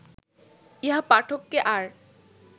ইহা পাঠককে আর